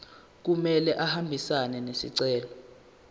kumele ahambisane nesicelo